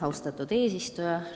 Austatud eesistuja!